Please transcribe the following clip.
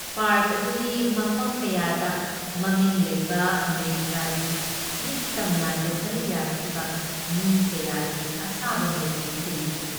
Park ꯑꯗꯨꯨꯒꯤ ꯃꯐꯝ ꯀꯌꯥꯗ ꯃꯃꯤꯡ ꯂꯩꯕ ꯑꯃꯦꯔꯤꯀꯥꯒꯤ ꯅꯤꯡꯇꯝ ꯂꯥꯟꯗ ꯁꯔꯨꯛ ꯌꯥꯈꯤꯕ ꯃꯤ ꯀꯌꯥꯒꯤ ꯑꯁꯥꯕ ꯃꯨꯔꯇꯤ ꯈꯤꯜꯂꯤ ꯫